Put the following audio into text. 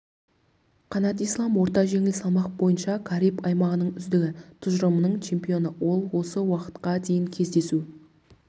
қанат ислам орта жеңіл салмақ бойынша кариб аймағының үздігі тұжырымының чемпионы ол осы уақытқа дейін кездесу